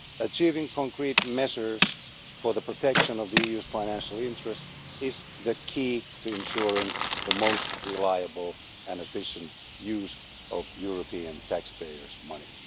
Achieving concrete measures for the protection of the EU's financial interests is the key to ensuring the most reliable and efficient use of European taxpayers' money.